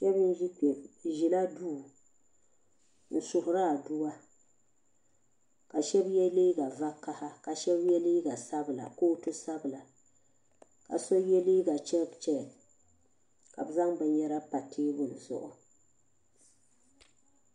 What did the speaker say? Shɛba n ʒe kpɛ bi ʒella duu n suhuri aduwa ka shɛba yɛ liiga vokaha ka shɛba yɛ liiga sabila kootu sabila ka so yɛ liiga chɛkchɛk ka bɛ zaŋ binyɛra pa tɛbuli zuɣu